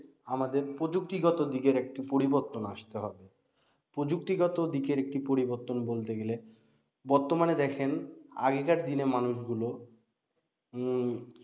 আমাদের প্রযুক্তিগত দিকের একটা পরিবর্তন আসতে হবে প্রযুক্তিগত দিকের একটি পরিবর্তন বলতে গেলে বর্তমানে দেখেন আগেকার দিনে মানুষগুলো উম